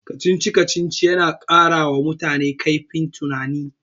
Kacici-kacicic yana ƙarawa mutane kaifin tunani.